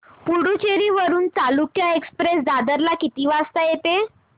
पुडूचेरी वरून चालुक्य एक्सप्रेस दादर ला किती वाजता येते